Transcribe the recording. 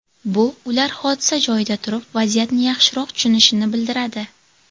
Bu ular hodisa joyida turib, vaziyatni yaxshiroq tushunishini bildiradi.